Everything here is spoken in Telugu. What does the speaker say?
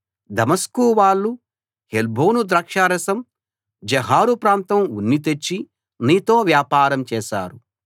దమస్కు వాళ్ళు హెల్బోను ద్రాక్షారసం జహారు ప్రాంతం ఉన్ని తెచ్చి నీతో వ్యాపారం చేశారు